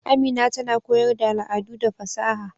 Amina tana koyar da al'adu da fasaha.